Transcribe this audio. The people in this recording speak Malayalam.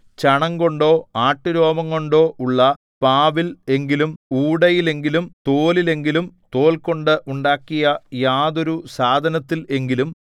ചണംകൊണ്ടോ ആട്ടുരോമംകൊണ്ടോ ഉള്ള പാവിൽ എങ്കിലും ഊടയിലെങ്കിലും തോലിലെങ്കിലും തോൽകൊണ്ടു ഉണ്ടാക്കിയ യാതൊരു സാധനത്തിൽ എങ്കിലും